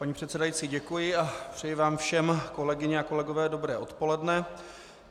Paní předsedající, děkuji a přeji vám všem, kolegyně a kolegové, dobré odpoledne.